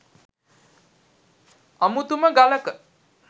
අමුතුම ගලක.